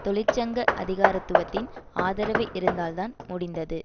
தொழிற்சங்க அதிகாரத்துவத்தின் ஆதரவு இருந்ததால் தான் முடிந்தது